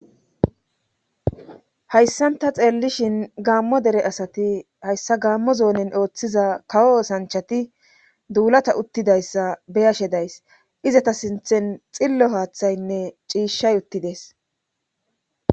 hayssanta xeellishin gaammo dere asati hayssa gaammo zoonen ooththiza kawo sanchati duulata uttidayssa beyashe days izata sinthen xillo haaththaynne ciishshay uttides